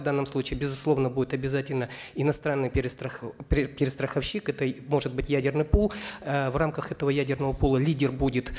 в данном случае безусловно будет обязательно иностранный перестраховщик это может быть ядерный пул э в рамках этого ядерного пула лидер будет